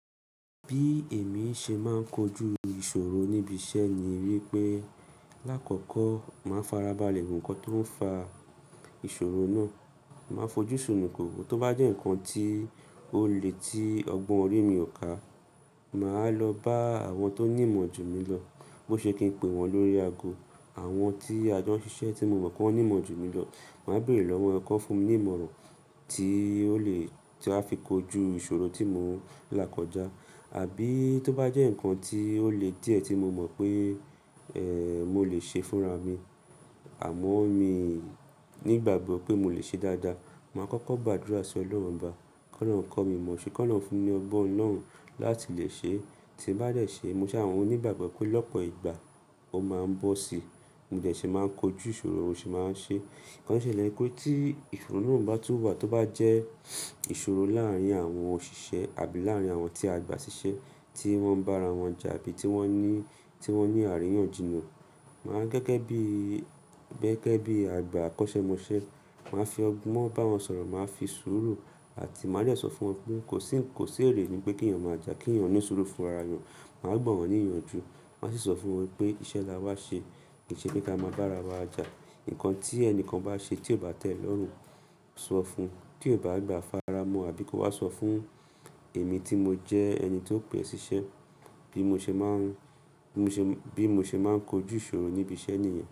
Bí èmi ṣe máa ń kojú ìṣòro níbi iṣẹ́ ni wípé lákọ̀kọ̀ máa farabalẹ̀ wo ńkan tó ń fa ìṣòro náà. Máa fojú sunuko wo, tó bá jẹ́ ǹkan tí ó le tí ọgbọ́n orí mi ò ká, màá lọ bá àwọn tó nímọ̀ jù mí lọ. Bo ṣe kí n pe wọn lórí ago? Àwọn tí a jọ ń ṣiṣẹ́ tí mo mọ̀ pé wọ́n nímọ̀ jù mí lọ. Màá bèrè lọ́wọ́ wọn, ki won fún mi ní ìmọ̀ràn tí ó lè tí a fi kojú ìṣòro tí mò ń là kọjá. Àbí tó bá jẹ́ ǹkan tí ó le díẹ̀ tí mo mọ̀ pé, ẹ́, mo lè ṣe fúnra mi, àmọ́ mi nígbàgbọ́ pé mo lè ṣe dáadáa, màá kọ́kọ́ gbàdúrà sí Ọlọ́run obá. Ki olorun ko mi mọ̀, ṣe, ki olorun fún ní ọgbọ́n Ọlọ́run láti lè ṣe é. Tí mo bá dẹ̀ ṣe, mo ṣa mo ni igbàgbọ́ pé lọ́pọ̀ ìgbà ó máa ń bọ́ si. Mo de si máa ń kojú ìṣòro, mo sì máa ń ṣe. Ǹkan sele wipe tí ìfòró min bá tú wá, tó bá jẹ́ ìṣòro láàárín àwọn òṣìṣẹ́ àbí láàárín àwọn tí a gbà ṣiṣẹ́ tí wọ́n bá ara wọn jà bí i tí wọ́n ní, tí wọ́n ní àríyànjiyàn. Màá gẹ́gẹ́ bí i, gẹ́gẹ́ bí i àgbà àkọ́ṣẹ́ṣẹ mo ṣe, màá fi ọgbọ́n bá wọn sọ̀rọ̀, màá fi sùúrù àti màá dẹ̀ sọ fún wọn pé kò sí, kò sí èrè ni pé kí ènìyàn máa jà, kí ènìyàn ní sùúrù fúnra ènìyàn. Màá gbọ́ wọn ní ìyànjú. Maa sì sọ fún wọn wípé iṣẹ́ la wá ṣe, kì í ṣe pé ká máa bá ara wa jà. Ǹkan tí ẹnikan bá ṣe tí ò bá tẹ́ ẹ lọ́rùn, sọ fún ti ò bá gbà, fara mọ́ àbí kó wá sọ fún èmi tí mo jẹ ẹni tó pe e ṣiṣẹ́ bí mo ṣe máa ń, bí mo ṣe, bí mo ṣe máa ń kojú ìṣòro níbi iṣẹ́ ènìyàn.